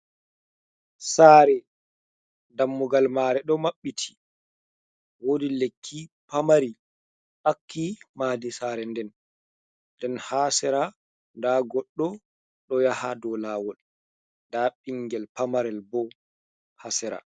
Sare dammugal mare ɗo maɓɓiti, wodi lekki pamari ɗakki madi sare nden, nden ha sera nda goɗɗo ɗo ya ha dow lawol, nda ɓingel pamarel bo ha sera.